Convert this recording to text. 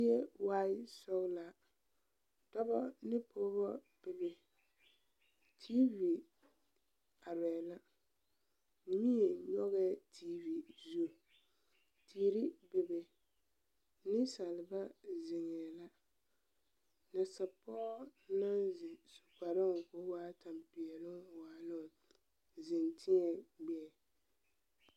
A zie waaɛ sɔglaa dɔba ane pɔgeba bebe tiivi arɛɛ la nie nyɔgɛɛ tiivi zu teere bebe niŋsaalba ziŋɛ la nasa pɔge naŋ su kparoo ko da baa waa tampeɛloŋ waɛ la a ziŋ teɛ gbɛɛ.